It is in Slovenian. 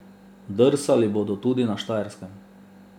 Drsali bodo tudi na Štajerskem.